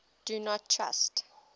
do not trust